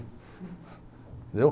Entendeu?